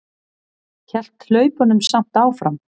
Hélt hlaupunum samt áfram.